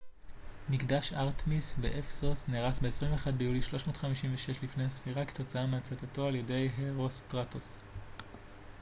"מקדש ארטמיס באפסוס נהרס ב־21 ביולי 356 לפנה""ס כתוצאה מהצתתו על ידי הרוסטראטוס.